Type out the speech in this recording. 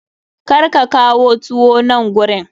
Kar ka kawo tuwo nan gurin!